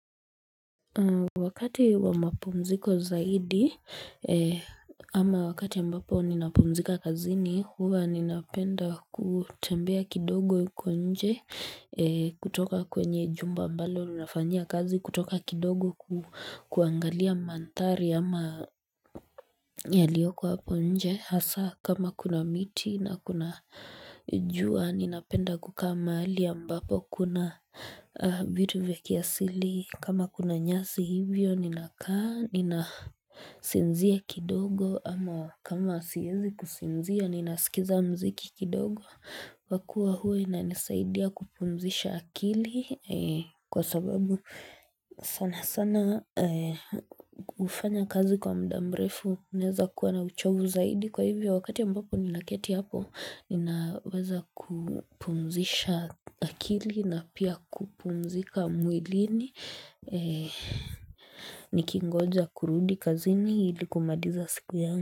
Wakati wa mapumziko zaidi ama wakati ambapo ninapumzika kazini huwa ninapenda kutembea kidogo huko nje kutoka kwenye jumba ambalo tunafanya kazi kutoka kidogo kuangalia mandhari ama yalioko hapo nje hasaa kama kuna miti na kuna jua ninapenda kuka mahali ambapo kuna vitu vya kiasili kama kuna nyasi hivyo ninakaa ninasinzia kidogo ama kama siezi kusinzia ninasikiza muziki kidogo Kwa kuwa huwa inanisaidia kupumzisha akili kwa sababu sana sana hufanya kazi kwa muda mrefu naeza kuwa na uchovu zaidi kwa hivyo wakati ambapo nina keti hapo ninaweza kupumzisha akili na pia kupumzika mwilini Nikingoja kurudi kazini ili kumaliza siku yangu.